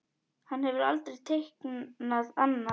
Hann hefur aldrei teiknað annað.